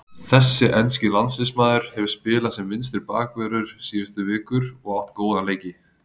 Þessi enski landsliðsmaður hefur spilað sem vinstri bakvörður síðustu vikur og átt góða leiki.